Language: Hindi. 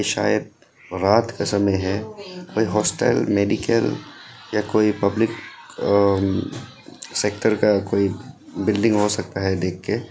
शायद रात का समय है कोई हॉस्टल मेडिकल या कोई पब्लिक सेक्टर का कोई बिल्डिंग हो सकता है देख के।